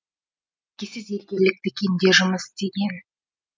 әкесі зергерлік дүкенде жұмыс істеген